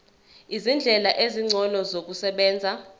izindlela ezingcono zokusebenza